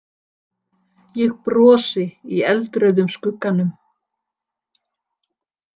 Ég brosi í eldrauðum skugganum.